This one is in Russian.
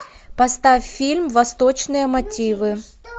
поставь фильм восточные мотивы